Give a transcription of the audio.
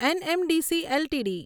NMDC LTD